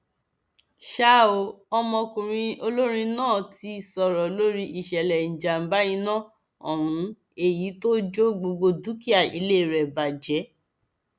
ṣá o ọmọkùnrin olórin náà ti sọrọ lórí ìṣẹlẹ ìjàmbá iná ohun èyí tó jó gbogbo dúkìá ilé rẹ bàjẹ